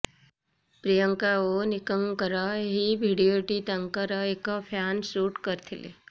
ପ୍ରିୟଙ୍କା ଓ ନିକଙ୍କର ଏହି ଭିଡିଓଟି ତାଙ୍କର ଏକ ଫ୍ୟାନ ସୁଟ୍ କରିଥିଲେ